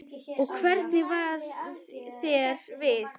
Og hvernig varð þér við?